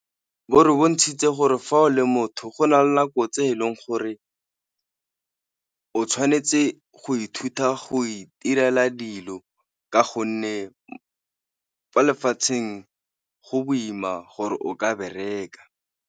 Bo re bontshitse gore fa o le motho go na le nako tse eleng gore o tshwanetse go ithuta go itirela dilo ka gonne fa lefatsheng go boima gore o ka bereka.